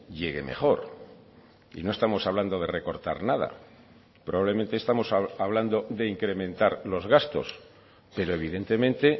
llegue mejor y no estamos hablando de recortar nada probablemente estamos hablando de incrementar los gastos pero evidentemente